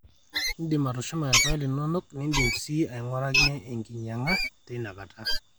iindim atushuma irpaek linonok niindim sii aing'uraki enkinyang'a teinakata